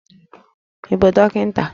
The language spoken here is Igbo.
Ị bụ dọkịta?